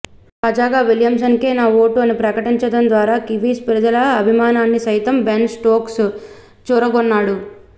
తాజాగా విలియమ్సన్కే నా ఓటు అని ప్రకటించడం ద్వారా కివీస్ ప్రజల అభిమానాన్ని సైతం బెన్ స్టోక్స్ చురగొన్నాడు